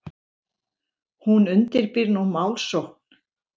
Hún undirbýr nú málsókn.